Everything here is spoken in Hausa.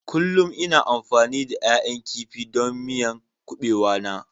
Kullum ina amfani da ƴaƴan kifi don miyan kubewa na.